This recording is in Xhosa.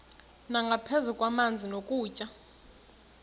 nangaphezu kwamanzi nokutya